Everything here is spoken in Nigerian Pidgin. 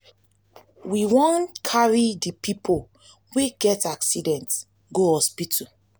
we wan carry di pipo wey get accident go hospital.